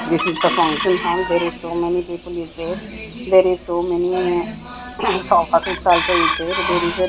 this is the function hall there is so many people is there there is so many ca cousins also is there there is a--